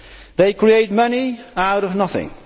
They create money out of nothing